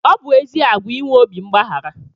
Ọ bụ ezi àgwà inwe obi mgbaghara